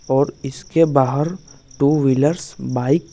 और इसके बाहर टू व्हीलरस बाइक --